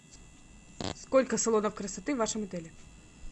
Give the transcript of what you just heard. сколько салонов красоты в вашем отеле